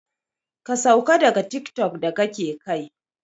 Ka sauka daga tiktok da kake kai!